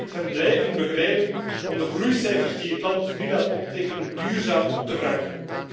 Europa moet hen blijven begeleiden om de groeicijfers die het land nu laat optekenen, duurzaam te verankeren.